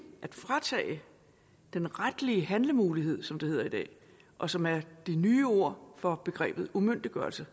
at fratage den retlige handlemulighed som det hedder i dag og som er det nye ord for begrebet umyndiggørelse